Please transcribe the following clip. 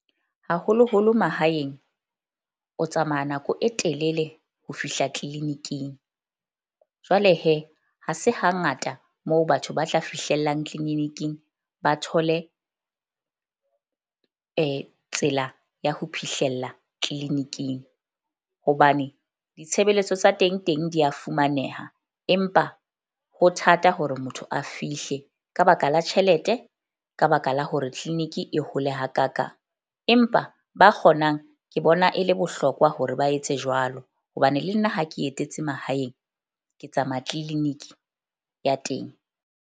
Haholoholo mahaeng, o tsamaya nako e telele ho fihla clinic-ing. Jwale ha se hangata moo batho ba tla fihlellang clinic-ing ba thole tsela ya ho phihlella clinic-ing. Hobane ditshebeletso tsa teng teng di ya fumaneha. Empa ho thata hore motho a fihle ka baka la tjhelete. Ka baka la hore clinic e hole hakakang. Empa ba kgonang ke bona e le bohlokwa hore ba etse jwalo hobane le nna ha ke etetse mahaeng. Ke tsamaya clinic-i ya teng.